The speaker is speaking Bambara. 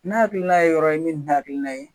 N'a hakilina ye yɔrɔ ye min tɛ ne hakilina ye